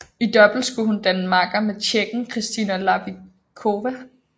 I double skulle hun danne makker med tjekken Kristyna Lavickova